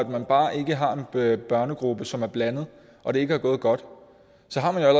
man bare ikke har en børnegruppe som er blandet og det ikke er gået godt så har man jo